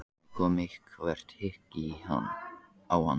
Þá kom eitthvert hik á hana.